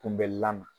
Kunbɛli la